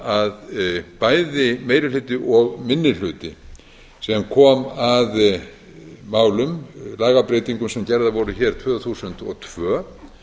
mál að bæði meiri hluti og minni hlutinn sem kom að málum lagabreytingum sem gerðar voru hér tvö þúsund og tvö